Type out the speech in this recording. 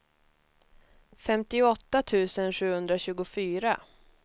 femtioåtta tusen sjuhundratjugofyra